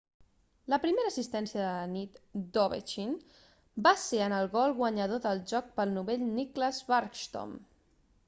la primera assistència de la nit d'ovechkin va ser en el gol guanyador del joc pel novell nicklas backstrom